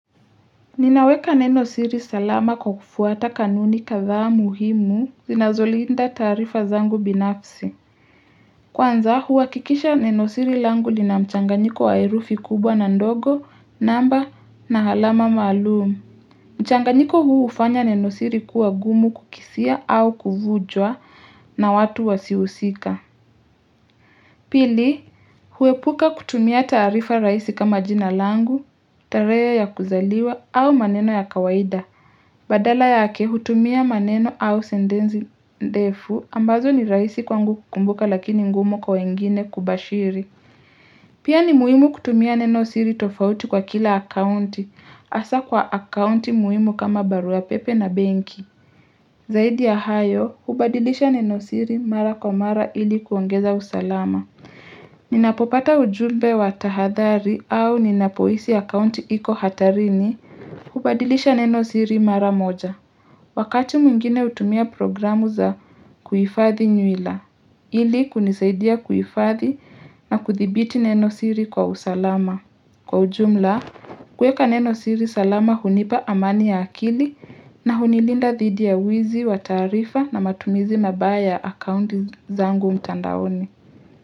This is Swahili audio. Ninaweka neno siri salama kwa kufuata kanuni kathaa muhimu zinazolinda taarifa zangu binafsi Kwanza huhakikisha nenosiri langu lina mchanganyiko herufi kubwa na ndogo namba na alama maalumu mchanganyiko huu ufanya nenosiri kuwa gumu kukisia au kuvujwa na watu wasiohusika Pili huepuka kutumia tarifa rahisi kama jina langu, tarehe ya kuzaliwa au maneno ya kawaida Badala yake hutumia maneno au sentensi ndefu ambazo ni rahisi kwangu kukumbuka lakini ngumu kwa wengine kubashiri. Pia ni muhimu kutumia nenosiri tofauti kwa kila akaunti asa kwa akaunti muhimu kama baruapepe na benki. Zaidi ya hayo, hubadilisha nenosiri mara kwa mara ili kuongeza usalama. Ninapopata ujumbe wa tahadhari au ninapohisi account iko hatarini, hubadilisha nenosiri mara moja. Wakati mwingine utumia programu za kuhifadhi nywila, ili kunisaidia kuifadhi na kuthibiti nenosiri kwa usalama. Kwa ujumla, kueka neno siri salama hunipa amani ya akili na hunilinda dhidi ya wizi wa taarifa na matumizi mabaya ya akunti zangu mtandaoni.